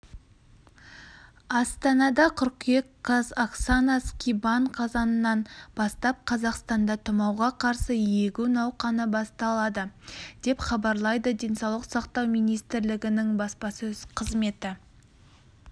астана қыркүйек қаз оксана скибан қазаннан бастап қазақстанда тұмауға қарсы егу науқаны басталады деп хабарлайды денсаулық сақтау министрлігінің баспасөз қызметі